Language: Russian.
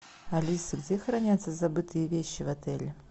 алиса где хранятся забытые вещи в отеле